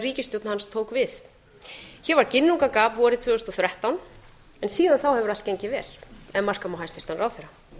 ríkisstjórn hans tók við því var ginnungagap vorið tvö þúsund og þrettán en síðan þá hefur allt gengið vel ef marka má hæstvirtan ráðherra